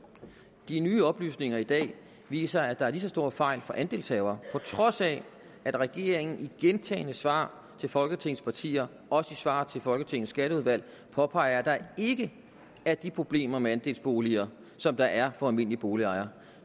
de nye oplysninger i dag viser at der er lige så store fejl for andelshavere på trods af at regeringen i gentagne svar til folketingets partier og også i svar til folketingets skatteudvalg påpeger at der ikke er de problemer med andelsboliger som der er for almindelige boliger